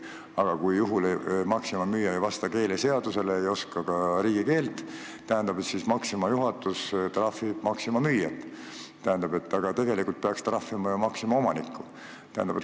Aga kui Maxima müüja oskused ei vasta keeleseaduse nõuetele, ta ei oska riigikeelt, siis Maxima juhatus trahvib müüjat, aga tegelikult peaks trahvima ju Maxima omanikku.